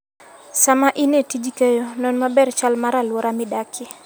Sama in e tij keyo, non maber chal mar alwora midakie.